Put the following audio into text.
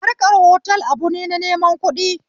Harkan otal abune na neman kuɗi